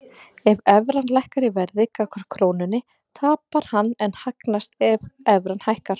Ef evran lækkar í verði gagnvart krónunni tapar hann en hagnast ef evran hækkar.